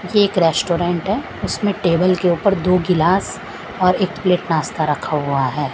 एक रेस्टोरेंट है उसमें टेबल के ऊपर दो गिलास और एक प्लेट नाश्ता रखा हुआ है।